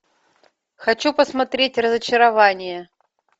хочу посмотреть разочарование